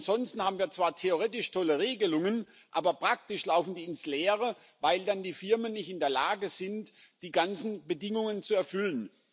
Ansonsten haben wir zwar theoretisch tolle Regelungen, aber praktisch laufen die ins Leere, weil dann die Firmen nicht in der Lage sind, die ganzen Bedingungen zu erfüllen.